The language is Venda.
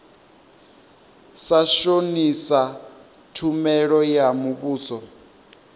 sa shonisa tshumelo ya muvhuso